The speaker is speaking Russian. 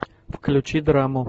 включи драму